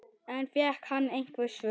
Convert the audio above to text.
En fékk hann einhver svör?